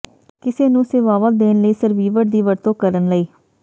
ਕਿਸੇ ਨੂੰ ਸੇਵਾਵਾਂ ਦੇਣ ਲਈ ਸਰਵੀਵਰ ਦੀ ਵਰਤੋਂ ਕਰਨ ਲਈ